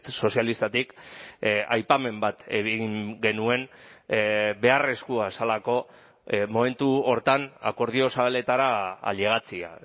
sozialistatik aipamen bat egin genuen beharrezkoa zelako momentu horretan akordio zabaletara ailegatzea